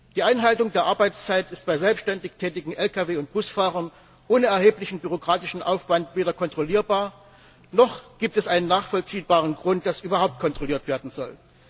Die Einhaltung der Arbeitszeit ist bei selbständig tätigen Lkw und Busfahrern ohne erheblichen bürokratischen Aufwand weder kontrollierbar, noch gibt es einen nachvollziehbaren Grund, dass überhaupt kontrolliert werden soll.